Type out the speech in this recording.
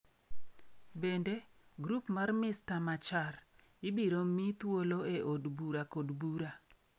Bende, grup mar Mr. Machar ibiro mi thuolo e od bura kod bura.